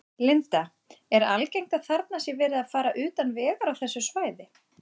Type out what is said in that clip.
Linda: Er algengt að þarna sé verið að fara utan vegar á þessu svæði?